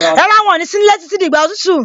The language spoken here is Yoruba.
Rárá, wọn ní sí nílé títí di ìgbà òtútù.